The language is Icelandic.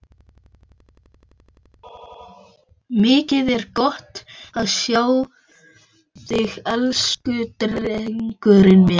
Mikið er gott að sjá þig, elsku drengurinn minn!